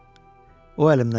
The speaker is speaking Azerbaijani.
O əlimdən yapışdı.